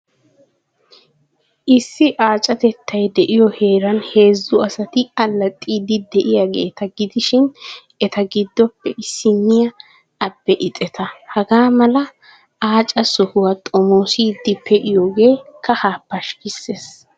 Issi aacatettay de'iyoo heeran heezzu asati allaxxiiddi de'iyaageeta gidishin eta giddoppe issinniyaa abe ixeta. Hagaa mala aaca sohuwaa xomoossiiddi pe'iyoogee kahaa pashkkissees.